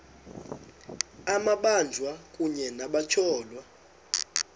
amabanjwa kunye nabatyholwa